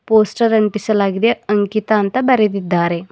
Poster ಅಂಟಿಸಲಾಗಿದೆ ಅಂಕಿತ ಅಂತ ಬರೆದಿದ್ದಾರೆ.